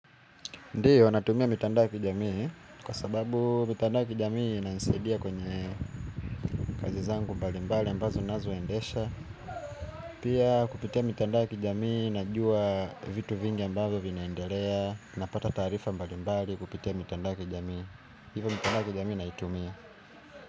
Ndio, natumia mitandao ya kijamii, kwa sababu mitandao ya kijamii inansidia kwenye kazi zangu mbalimbali ambazo nazoendesha. Pia kupitia mitandao ya kijamii, najua vitu vingi ambavyo vinaendelea, napata taarifa mbalimbali kupitia mitandao ya kijamii. Hivo mitandao ya kijamii naitumia.